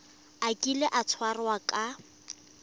a kile a tshwarwa ka